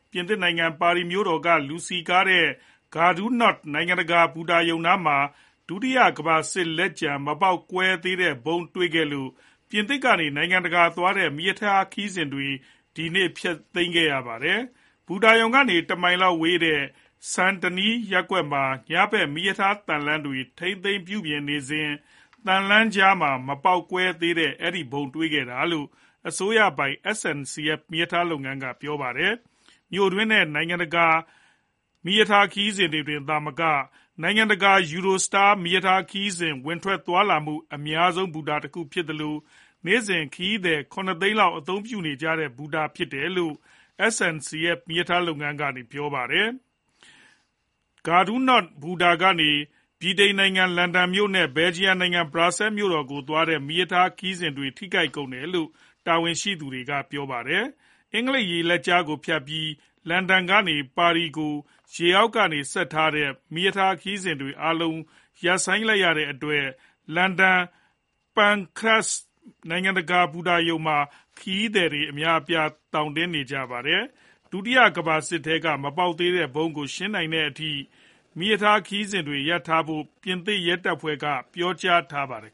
ပြင်သစ်နိုင်ငံ ပါရီမြို့တော်က လူစည်ကားတဲ့ Gare du Nord (ဂါဒူနောဒ့်) နိုင်ငံတကာ ဘူတာရုံနားမှာ ဒုတိယကမ္ဘာစစ်ပွဲတုန်းက မပေါက်ကွဲသေးတဲ့ ဗုံးတွေ့ခဲ့လို့ ပြင်သစ်ကနေ နိုင်ငံတကာသွားတဲ့ မီးရထားခရီးစဉ်တွေ ဒီနေ့ ဖျက်ခဲ့ရပါတယ်။ ဘူတာရုံကနေ တမိုင်ခွဲလောက်ဝေးတဲ့ Saint Denis (ဆန်ဒနီး) ရပ်ကွက်မှာ မီးရထားသံလမ်းတွေကို ညဘက်မှာထိန်းသိမ်းပြုပြင်ရေးလုပ်စဉ် သံလမ်းတွေကြားမှာ မပေါက်ကွဲသေးတဲ့ဗုံးကို တွေ့ခဲ့တာလို့ အစိုးရပိုင် SNCF မီးရထားလုပ်ငန်းက ပြောပါတယ်။ Gare du Nord ဘူတာဟာ မြို့တွင်းနဲ့ နိုင်ငံတွင်း မီးရထားခရီးစဉ်တွေသာမက နိုင်ငံတကာသွားတဲ့ Eurostar မီးရထားခရီးစဉ်တွေ ဝင်ထွက်သွားလာနေတဲ့ အလုပ်အများဆုံး ဘူတာတခုဖြစ်သလို နေ့စဉ် ခရီးသည် (၇) သိန်းလောက် အသုံးပြုနေကြတဲ့ ဘူတာဖြစ်တယ်လို့ SNCF မီးရထားလုပ်ငန်းက ပြောပါတယ်။ Gare du Nord (ဂါဒူနောဒ့်) ဘူတာကနေ ဗြိတိန်နိုင်ငံ လန်ဒန်မြို့တော်နဲ့ Belgium နိုင်ငံ Brussels မြို့တော်ကို သွားတဲ့ မီးရထားခရီးစဉ်တွေ ထိခိုက်တယ်လို့ တာဝန်ရှိသူတွေက ပြောပါတယ်။ အင်္ဂလိပ်ရေလက်ကြားကို ဖြတ်ပြီး လန်ဒန်ကနေ ပါရီကို ရေအောက်ကနေဆက်ထားတဲ့ မီးရထားခရီးစဉ်အားလုံး ရပ်ဆိုင်းထားတဲ့အတွက် လန်ဒန် St. Pancras နိုင်ငံတကာဘူတာရုံမှာ ခရီးသည်တွေ သောင်တင်နေကြပါတယ်။ ဒုတိယကမ္ဘာစစ်ထဲက မပေါက်သေးတဲ့ ဗုံးကို ရှင်းနိုင်တဲ့အထိ မီးရထားခရီးစဉ်တွေရပ်ထားဖို့ ပြင်သစ်ရဲတပ်ဖွဲ့က ပြောကြားထားပါတယ်